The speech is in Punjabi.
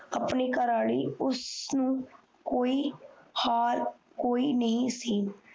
ਆਪਣੀ ਕਾਰਲੀ ਉਸ ਨੂੰ ਹਾਰ ਕੋਈ ਨਹੀਂ ਸੀ